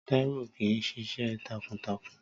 Táíwò kìí ṣiṣẹ́ takuntakun